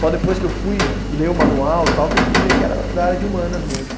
Só depois que eu fui ler o manual tal que eu fui ver que era da área de humanas mesmo.